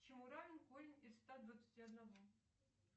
чему равен корень из ста двадцати одного